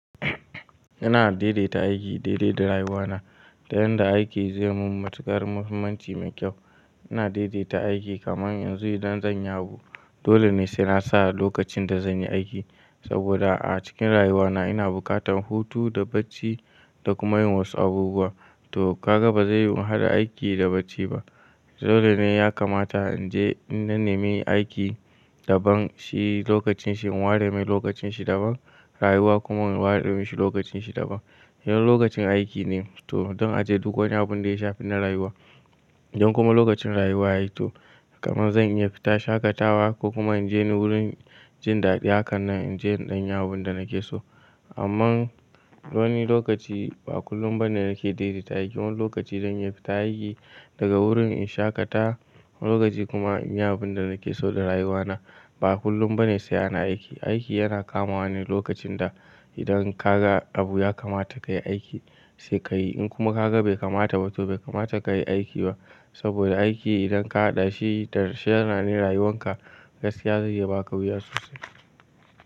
Ina daidaita aiki, daidaita rayuwana da yadda aiki zai mun matukar muhimmanci mai kyau. Ina daidaita aiki kaman yanzu idan zanyi abu dole ne sai na sa lokacin da zanyi aiki saboda a cikin rayuwana ina buƙatan hutu da bacci da kuma yin wasu abubuwa. To kaga bazai yi mu haɗa aiki da bacci ba, dole ne ya kamata in je in na nemi aiki daban shi lokacin shi in ware mai lokacin shi daban, rayuwa kuma in ware mashi lokacin shi daban. Yin lokacin aiki ne to zan aje duk wani abun da ya shafi na rayuwa. Don kuma lokacin rayuwa yayi to kaman zan iya fita shaƙatawa ko kuma in je wurin jin daɗi haka nan in je in ɗan yawo abun da nake so. Ammann wani lokaci ba kullum ba ne nake daidaita aiki. Wani lokaci zan iya fita aiki daga wurin in shaƙata, wani lokaci kuma in yi abun da nake so da rayuwana. Ba kullum ba ne sai ana aiki. Aiki yana kamawa ne lokacin da idan ka ga abu ya kamata kayi aiki sai kayi. In kuma ka ga bai kamata ba to bai kamata kayi aiki ba saboda aiki idan ka haɗa shi da sha'anin yana ne rayuwan ka ga sai ya zai iya baka wuya sosai.